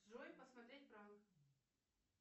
джой посмотреть пранк